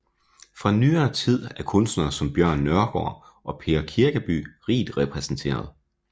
Fra nyere tid er kunstnere som Bjørn Nørgaard og Per Kirkeby rigt repræsenteret